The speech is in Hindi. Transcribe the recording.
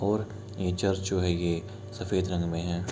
और ये चर्च जो है ये सफ़ेद रंग में है।